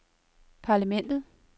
parlamentet